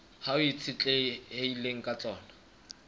hao e itshetlehileng ka tsona